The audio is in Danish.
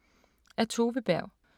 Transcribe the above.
Af Tove Berg